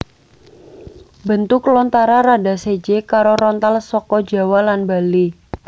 Bentuk lontara rada séjé karo rontal saka Jawa lan Bali